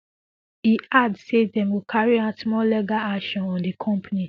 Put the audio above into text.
e add say dem go carry out more legal action on di company